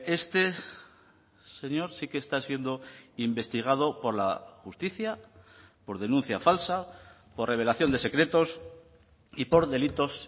este señor sí que está siendo investigado por la justicia por denuncia falsa por revelación de secretos y por delitos